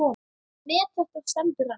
Met þetta stendur enn.